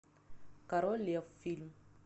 король лев фильм